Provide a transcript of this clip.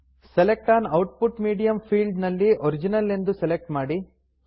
select on output medium field ನಲ್ಲಿ original ಎಂದು select ಮಾಡಿ